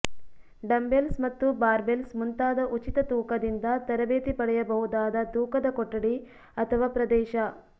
dumbbells ಮತ್ತು barbells ಮುಂತಾದ ಉಚಿತ ತೂಕದಿಂದ ತರಬೇತಿ ಪಡೆಯಬಹುದಾದ ತೂಕದ ಕೊಠಡಿ ಅಥವಾ ಪ್ರದೇಶ